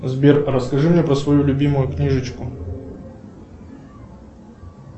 сбер расскажи мне про свою любимую книжечку